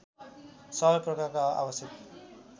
सबै प्रकारका आवश्यक